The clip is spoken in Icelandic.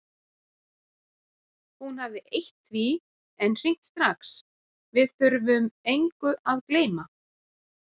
Hún hafði eytt því en hringt strax: Við þurfum engu að gleyma.